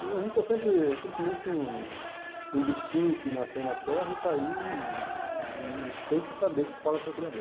E a gente é sempre, simplesmente, um um bichinho que nasceu na Terra e está aí e tem que saber qual é o seu criador.